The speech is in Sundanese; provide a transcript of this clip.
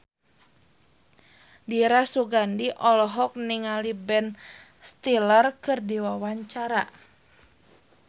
Dira Sugandi olohok ningali Ben Stiller keur diwawancara